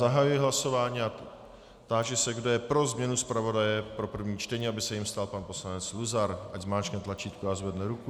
Zahajuji hlasování a táži se, kdo je pro změnu zpravodaje pro první čtení, aby se jím stal pan poslanec Luzar, ať zmáčkne tlačítko a zvedne ruku.